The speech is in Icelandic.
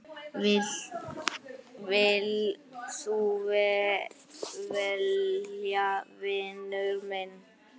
Vilt þú vera vinur minn?